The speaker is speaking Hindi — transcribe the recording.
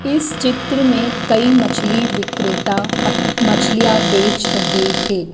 इस चित्र में कई मछली विक्रेता अप मछलियां बेच रहे हैं।